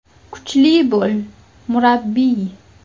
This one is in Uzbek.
Kuchli bo‘l, murabbiy”.